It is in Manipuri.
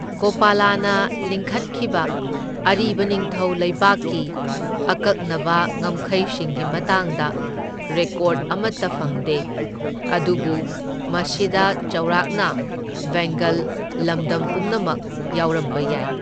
ꯒꯣꯄꯂꯅ ꯂꯤꯡꯈꯠꯈꯤꯕ ꯑꯔꯤꯕ ꯅꯤꯡꯊꯧ ꯂꯩꯕꯥꯛꯀꯤ ꯑꯀꯛꯅꯕ ꯉꯝꯈꯩꯁꯤꯡꯒꯤ ꯃꯇꯥꯡꯗ ꯔꯦꯀꯣꯔꯗ ꯑꯃꯇ ꯐꯪꯗꯦ, ꯑꯗꯨꯕꯨ ꯃꯁꯤꯗ ꯆꯥꯎꯔꯥꯛꯅ ꯕꯦꯡꯒꯜ ꯂꯝꯗꯝ ꯄꯨꯝꯅꯃꯛ ꯌꯥꯎꯔꯝꯕ ꯌꯥꯏ꯫